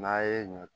N'a ye ɲɔ